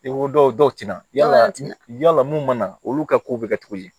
I ko dɔw tina yala yala mun mana olu ka kow bɛ kɛ cogo di